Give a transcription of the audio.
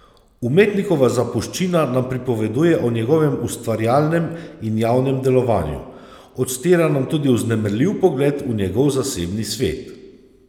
Umetnikova zapuščina nam pripoveduje o njegovem ustvarjalnem in javnem delovanju, odstira nam tudi vznemirljiv pogled v njegov zasebni svet.